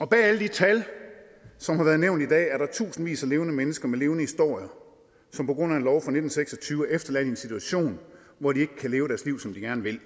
bag alle de tal som har været nævnt i dag er der tusindvis af levende mennesker med levende historier som på grund af en lov fra nitten seks og tyve er efterladt i en situation hvor de ikke kan leve deres liv som de gerne vil